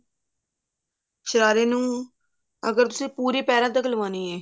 ਸ਼ਰਾਰੇ ਨੂੰ ਅਗਰ ਤੁਸੀਂ ਪੂਰੀ ਪੈਰਾ ਤੱਕ ਲਗਵਾਉਣੀ ਹੈ